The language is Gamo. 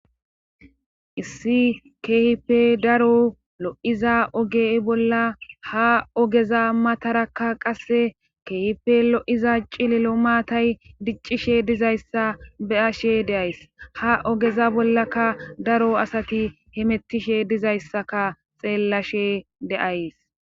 issi keehipe daro lo7iza oge bolla ha ogeza matarakka qasse keehipe lo7iza cilelo maatay diccishe dizayssa be7ashe deays ha ogeza bollaka daro asati himettishe dizayssaka xeellashe de'ese